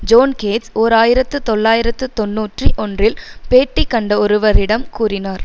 zone Gates ஓர் ஆயிரத்தி தொள்ளாயிரத்து தொன்னூற்றி ஒன்றில் பேட்டி கண்ட ஒருவரிடம் கூறினார்